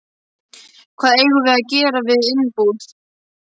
Hvað eigum við að gera við innbúið?